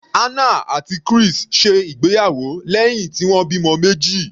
Hannah àti Chris ṣe ìgbéyàwó lẹ́hìn tí wọ́n bímọ meji.